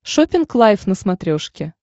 шоппинг лайф на смотрешке